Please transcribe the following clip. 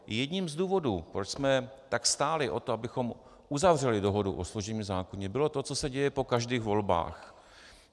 Jedním z důvodů, proč jsme tak stáli o to, abychom uzavřeli dohodu o služebním zákoně, bylo to, co se děje po každých volbách.